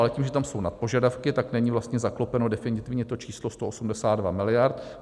Ale tím, že tam jsou nadpožadavky, tak není vlastně zaklopeno definitivně to číslo 182 miliard.